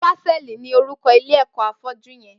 Pásẹlí ni órúkọ̀ ilé ẹkọ áfọ̀jù yèn